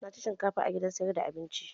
Na ci shinkafa a gidan sayar da abincin